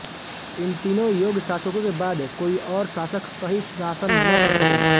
इन तीनों योग्य शासकों के बाद कोई और शासक सही शासन न कर सके